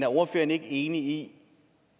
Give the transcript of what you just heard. ordføreren ikke enig i